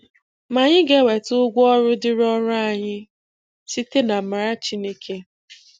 Ma anyị ga-enweta ụgwọ ọrụ dịịrị ọrụ anyị, site namara Chineke.